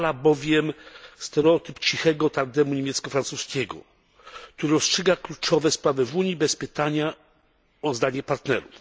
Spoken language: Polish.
utrwala bowiem stereotyp cichego tandemu niemiecko francuskiego, który rozstrzyga kluczowe sprawy Unii bez pytania o zdanie partnerów.